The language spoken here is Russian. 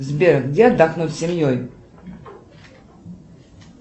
сбер где отдохнуть семьей